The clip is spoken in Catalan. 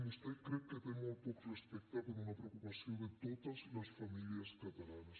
vostè crec que té molt poc respecte per una preocupació de totes les famílies catalanes